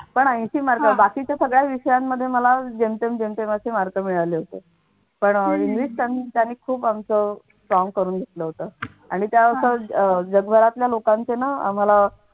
पण ऐशी mark बाकीच्या सगळ्या विषयांमध्ये मला जेमतेम जेमतेम असे मार्क मिळाले होते पण अह खूप आमचं खूप आमचं काम करून घेतलं होतं आणि त्या अह जगभरातल्या लोकांचे ना आम्हाला